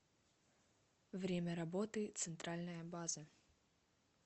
время работы центральная база